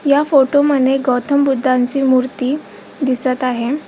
या फोटो मध्ये गौतम बुद्धांची मूर्ती दिसत आहे.